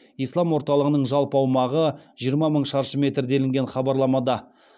ислам орталығының жалпы аумағы жиырма мың шаршы метр делінген хабарламада